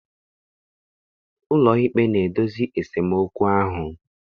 Ụlọikpe na-edozi esemokwu ahụ.